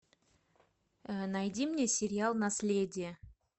найди мне сериал наследие